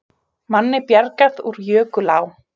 Manni bjargað úr jökulá